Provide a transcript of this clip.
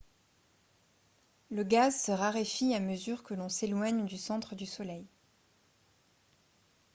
le gaz se raréfie à mesure que l'on s'éloigne du centre du soleil